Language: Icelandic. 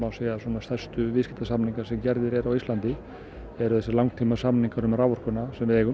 stærstu viðskiptasamningar sem gerðir eru á Íslandi þessir langtímasamningar um raforkuna sem við eigum